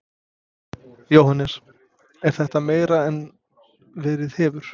Jóhannes: Er þetta meira en verið hefur?